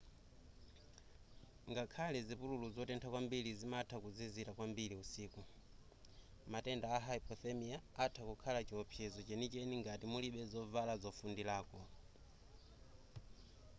ngakhale zipululu zotentha kwambiri zimatha kuzizira kwambiri usiku matenda a hypothermia atha kukhala chiopsezo chenicheni ngati mulibe zovala zofundirako